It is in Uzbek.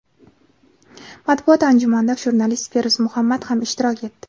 Matbuot anjumanida jurnalist Feruz Muhammad ham ishtirok etdi.